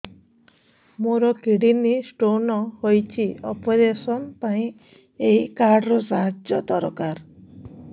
ମୋର kidney stone ହଇଛି operation ପାଇଁ ଏହି କାର୍ଡ ର ସାହାଯ୍ୟ ଦରକାର